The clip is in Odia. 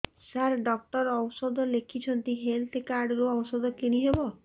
ସାର ଡକ୍ଟର ଔଷଧ ଲେଖିଛନ୍ତି ହେଲ୍ଥ କାର୍ଡ ରୁ ଔଷଧ କିଣି ହେବ